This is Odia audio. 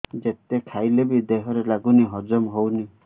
ଯେତେ ଖାଇଲେ ବି ଦେହରେ ଲାଗୁନି ହଜମ ହଉନି